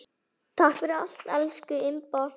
Takk fyrir allt, elsku Imba.